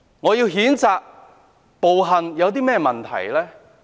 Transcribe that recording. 我譴責暴行，有甚麼問題呢？